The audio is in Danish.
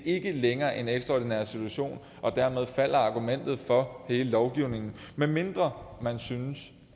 ikke længere en ekstraordinær situation og dermed falder argumentet for hele lovgivningen medmindre man synes